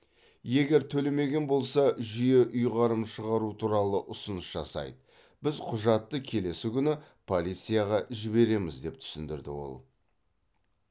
егер төлемеген болса жүйе ұйғарым шығару туралы ұсыныс жасайды біз құжатты келесі күні полицияға жібереміз деп түсіндірді ол